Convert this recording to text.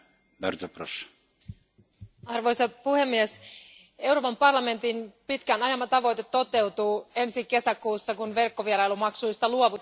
Arvoisa puhemies, Euroopan parlamentin pitkään ajama tavoite toteutuu ensi kesäkuussa, kun verkkovierailumaksuista luovutaan kokonaan Euroopan unionissa.